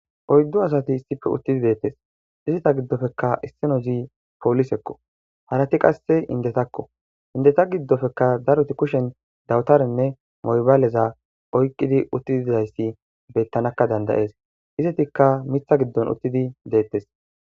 Oyddo asati issippe uttidi deettes izita giddofekka isseno zi poolisekko harati qasse indetakko indeta giddofekka daroti kushen dawutarenne moybaaleza oyqqidi uttidayssi bettanakka dandayees izetikka mitha giddon uttidi deettes.